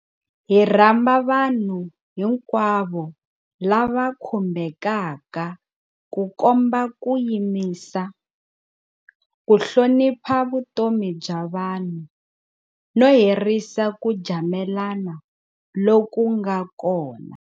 Hi rhamba vanhu hinkwavo lava khumbekaka ku komba ku yimisa, ku hlonipha vutomi bya vanhu, no herisa ku jamelana loku nga kona.